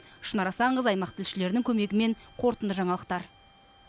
шынар асанқызы аймақ тілшілерінің көмегімен қорытынды жаңалықтар